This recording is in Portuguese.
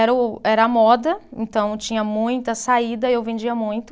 Era o, era a moda, então tinha muita saída e eu vendia muito.